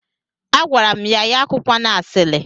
Agwara m ya, ya akụkwana asili.